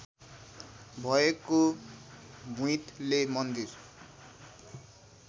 भएको भुइँतले मन्दिर